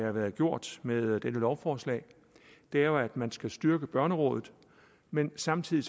har været gjort med dette lovforslag er jo at man skal styrke børnerådet men samtidig